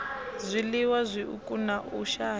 zwiliwa zwiuku na u shaya